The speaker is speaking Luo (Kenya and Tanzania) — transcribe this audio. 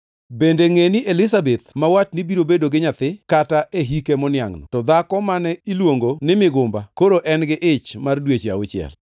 Bende ngʼeni Elizabeth ma watni biro bedo gi nyathi kata e hike moniangʼno, to dhako mane iluongo ni migumbano, koro en gi ich mar dweche auchiel.